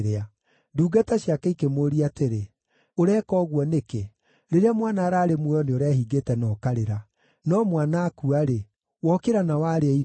Ndungata ciake ĩkĩmũũria atĩrĩ, “Ũreka ũguo nĩkĩ? Rĩrĩa mwana ararĩ muoyo nĩũrehingĩte na ũkarĩra, no mwana akua-rĩ, wokĩra na warĩa irio!”